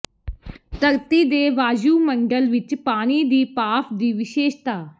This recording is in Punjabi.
ਧਰਤੀ ਦੇ ਵਾਯੂਮੰਡਲ ਵਿਚ ਪਾਣੀ ਦੀ ਭਾਫ਼ ਦੀ ਵਿਸ਼ੇਸ਼ਤਾ